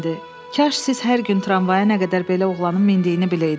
Kaş siz hər gün tramvaya nə qədər belə oğlanın mindiyini biləydiz.